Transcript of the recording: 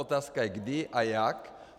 Otázka je kdy a jak.